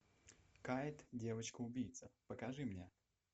кайт девочка убийца покажи мне